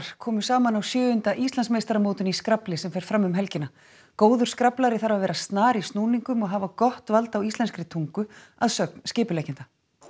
komu saman á sjöunda Íslandsmeistaramótinu í skrafli sem fer fram um helgina góður þarf að vera snar í snúningum og hafa gott vald á íslenskri tungu að sögn skipuleggjenda